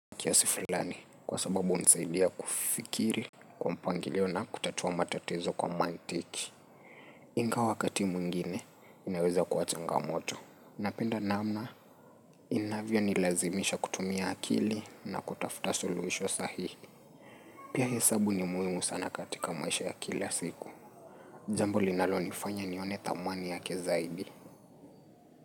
Kiasi fulani kwa sababu hunisaidia kufikiri kwa mpangilio na kutatua matatizo kwa mantiki. Ingawa wakati mwingine inaweza kuwa changamoto. Napenda namna inavyonilazimisha kutumia akili na kutafuta suluhisho sahihi Pia hesabu ni muhimu sana katika maisha ya kila siku Jambo linalonifanya nione thamani yake zaidi.